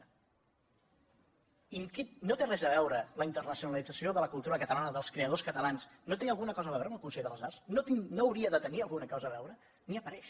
i no té res a veure la internacionalització de la cultura catalana dels creadors catalans no té alguna cosa a veure amb el consell de les arts no hauria de tenir hi alguna cosa a veure ni hi apareix